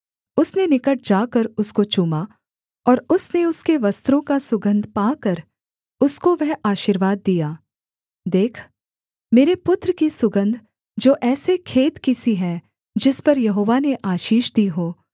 उसने निकट जाकर उसको चूमा और उसने उसके वस्त्रों का सुगन्ध पाकर उसको वह आशीर्वाद दिया देख मेरे पुत्र की सुगन्ध जो ऐसे खेत की सी है जिस पर यहोवा ने आशीष दी हो